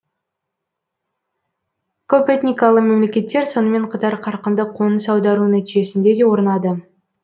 көпэтникалы мемлекеттер сонымен қатар қарқынды қоныс аудару нәтижесінде де орнады